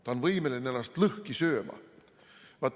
Ta on võimeline ennast lõhki sööma.